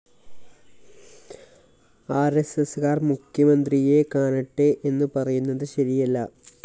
R S S കാർ മുഖ്യമന്ത്രിയെ കാണട്ടെ എന്നു പറയുന്നത് ശരിയല്ല